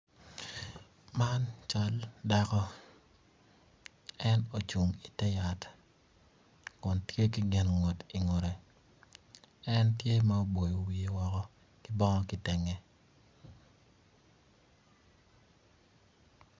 Man cal dako en ocung i teyat kun tye ki gin ngut i ngute en tye ma oboyo wiye woko ki kitenge.